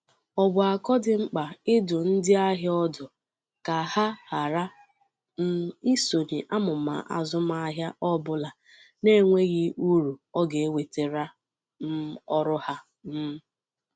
Ọ bụ akọ dị mkpa ịdụ ndị ahịa ọdụ ka ha hara um isonye n'amụma azụmahịa ọbula na-enweghi uru ọ ga-ewetara um ọrụ ha. um